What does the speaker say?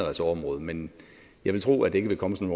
område men jeg vil tro at det ikke vil komme som